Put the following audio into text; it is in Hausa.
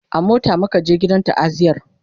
a mota muka je gidan ta'aziyar